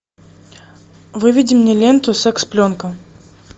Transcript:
выведи мне ленту секс пленка